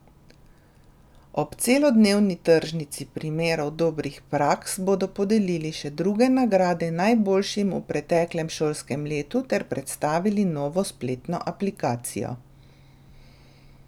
Ob celodnevni tržnici primerov dobrih praks bodo podelili še druge nagrade najboljšim v preteklem šolskem letu ter predstavili novo spletno aplikacijo.